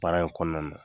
Baara in kɔnɔna na